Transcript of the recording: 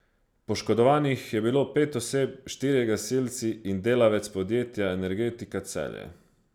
Poškodovanih je bilo pet oseb, štirje gasilci in delavec podjetja Energetika Celje.